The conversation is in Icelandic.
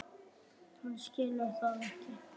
Hún skilur það ekki.